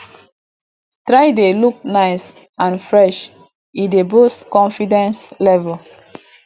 try de look nice and fresh e dey boost confidence level